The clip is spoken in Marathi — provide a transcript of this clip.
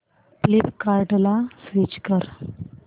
फ्लिपकार्टं ला स्विच कर